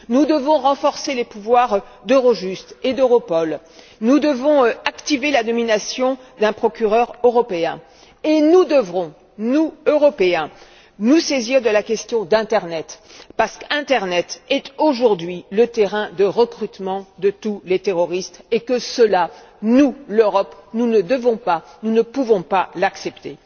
Nous devons renforcer les pouvoirs d'Eurojust et d'Europol, activer la nomination d'un procureur européen et nous devrons nous Européens nous saisir de la question d'internet parce que c'est aujourd'hui le terrain de recrutement de tous les terroristes et que cela, nous l'Europe ne devons pas et ne pouvons pas l'accepter.